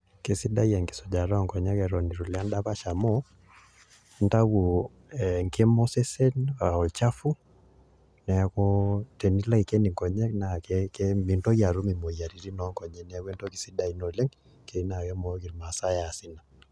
Kesidai enkisujata onkonyek atan itulo endapash amu intau enkikaboseseen aa olchafu na tenilo Aiken nkonyek mintoki atum moyiaritin onkonyek neaku entoki sidai oleng keyieu na keas irmaasai neas ina.